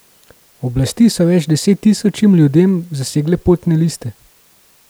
Oblasti so več deset tisočim ljudem zasegle potne liste.